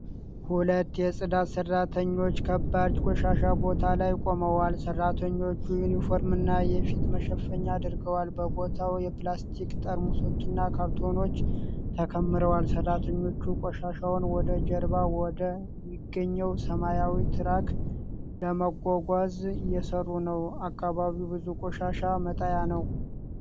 ሁለት የፅዳት ሰራተኞች ከባድ ቆሻሻ ቦታ ላይ ቆመዋል። ሰራተኞቹ ዩኒፎርምና የፊት መሸፈኛ አድርገዋል። በቦታው የፕላስቲክ ጠርሙሶችና ካርቶኖች ተከምረዋል። ሰራተኞቹ ቆሻሻውን ወደ ጀርባ ወደ ሚገኘው ሰማያዊ ትራክ ለማጓጓዝ እየሰሩ ነው። አካባቢው ብዙ የቆሻሻ መጣያ ነው።